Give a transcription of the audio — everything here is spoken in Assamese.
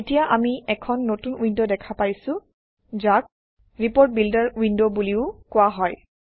এতিয়া আমি এখন নতুন উইণ্ড দেখা পাইছোঁ যাক ৰিপোৰ্ট বিল্ডাৰ উইণ্ড বুলিও কোৱা হয়